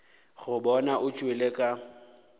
go bona o tšwele ka